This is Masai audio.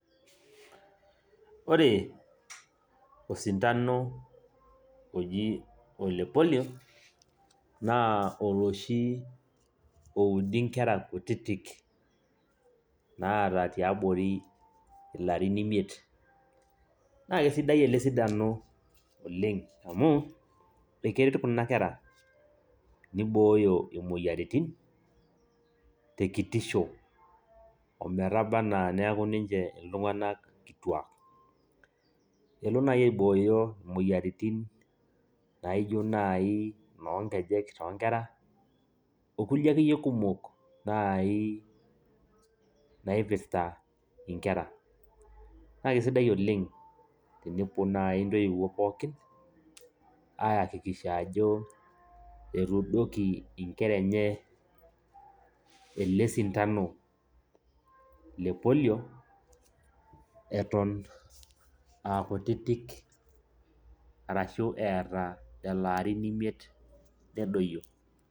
Ore osindano oji ole polio naa oloshi oudi nkera kutitik naata tiabori ilarrin imiet naa kesidai ele sindano oleng' amu keret kuna kera nibooyo imoyiaritin tekitisho ometaba enaa neeku ninche iltung'anak kituaak elo naai aibooyo imoyiaritin naa ijio nai inoonkejek toonkera okulie akeyie kumok naai naipirta nkera, kake sidai oleng' tenepuo naai intoiwuo pookin aiyakikisha ajo etuudoki nkera enye ele sindano le polio eton aa kutitik arashu eeta lelo arin imiet nedoyio.